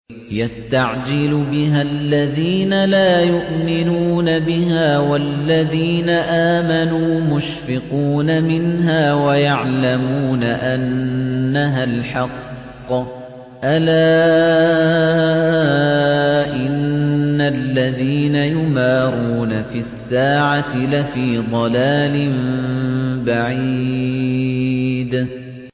يَسْتَعْجِلُ بِهَا الَّذِينَ لَا يُؤْمِنُونَ بِهَا ۖ وَالَّذِينَ آمَنُوا مُشْفِقُونَ مِنْهَا وَيَعْلَمُونَ أَنَّهَا الْحَقُّ ۗ أَلَا إِنَّ الَّذِينَ يُمَارُونَ فِي السَّاعَةِ لَفِي ضَلَالٍ بَعِيدٍ